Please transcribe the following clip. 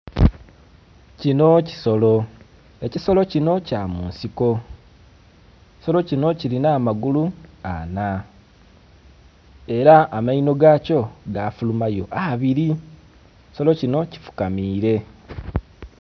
Kinho kisolo, ekisolo kinho kya munsiko ekisolo kinho kilinha amagulu anna era amainho gakyo gafurumayo abiri ekisolo kinho kifukamire.